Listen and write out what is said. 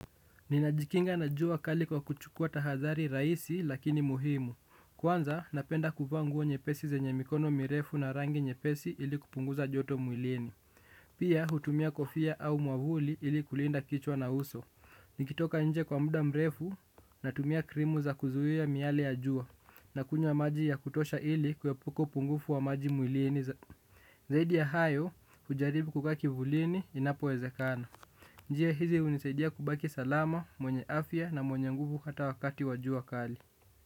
Ninajikinga na jua kali kwa kuchukua tahadhari raisi lakini muhimu. Kwanza napenda kuvaa nguo nyepesi zenye mikono mirefu na rangi nyepesi ili kupunguza joto mwilini. Pia hutumia kofia au mwavuli ili kulinda kichwa na uso. Nikitoka nje kwa muda mrefu natumia krimu za kuzuhia miyale ya jua nakunywa maji ya kutosha ili kuepuka upungufu wa maji mwilini zaidi ya hayo kujaribu kukaa kivulini inapowezekana. Njia hizi hunisaidia kubaki salama, mwenye afya na mwenye nguvu ata wakati wa jua kali.